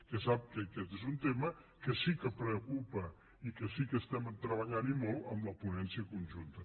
que sap que aquest és un tema que sí que preocupa i que sí que l’estem treballant i molt en la ponència conjunta